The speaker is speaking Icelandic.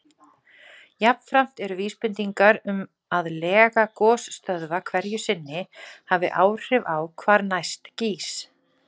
Jafnframt eru vísbendingar um að lega gosstöðva hverju sinni hafi áhrif á hvar næst gýs.